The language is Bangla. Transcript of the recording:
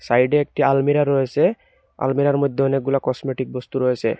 সাইড -এ একটি আলমিরা রয়েসে আলমিরা -এর মদ্যে অনেকগুলা কসমেটিক বস্তু রয়েসে।